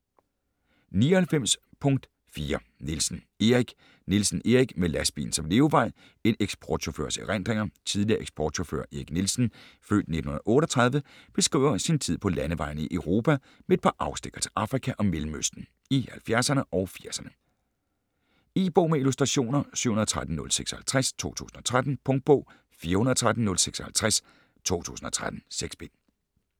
99.4 Nielsen, Erik Nielsen, Erik: Med lastbilen som levevej: en eksportchaufførs erindringer Tidligere eksportchauffør Erik Nielsen (f. 1938) beskriver sin tid på landevejene i Europa, med et par afstikkere til Afrika og Mellemøsten, i 1970´erne og 80´erne. E-bog med illustrationer 713056 2013. Punktbog 413056 2013. 6 bind.